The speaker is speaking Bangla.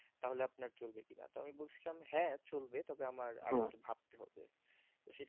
তাহলে আপনার চলবে কিনা তবে আমি বলছিলাম হ্যাঁ চলবে তবে আমার আর একটু ভাবতে হবে সেটা আমি